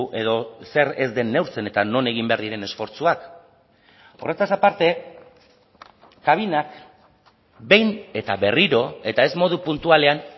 edo zer ez den neurtzen eta non egin behar diren esfortzuak horretaz aparte kabinak behin eta berriro eta ez modu puntualean